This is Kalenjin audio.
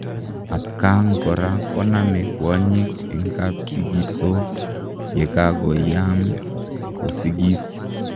Atkaang koraa konamee kwanyiik eng kapsigisoo yekakoyaam kosigiis